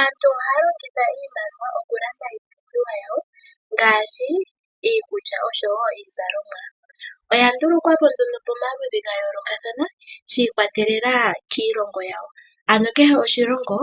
Aantu ohaya longitha iimaliwa oku landa iipumbiwa yawo ngaashi iikulya osho woo iizalonwa. Oya nduluka po nduno pamaludhi ga yoolokathana, shii kwa telela kiilongo yawo. Ano kehe oshilongo